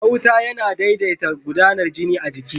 Gauta yana daidata gudanar jini a jiki.